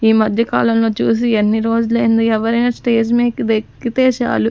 ఈ మధ్య కాలంలో చూసి ఎన్ని రోజులైంది ఎవరైనా స్టేజ్ మీదకి కేక్కితే చాలు.